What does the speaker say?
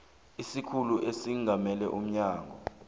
isikhulu esingamele umnyango